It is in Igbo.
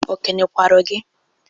O kene kwara gị?